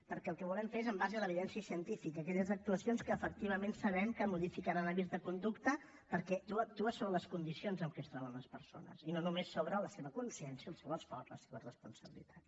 perquè el que volem fer és en base a l’evidència científica aquelles actuacions que efectivament sabem que modificaran hàbits de conducta perquè actuen sobre les condicions amb què es troben les persones i no només sobre la seva consciència el seu esforç la seva responsabilitat